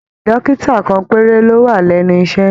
Dókítà kan péré ló wà lẹnu iṣẹ.